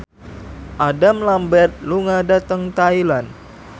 Adam Lambert lunga dhateng Thailand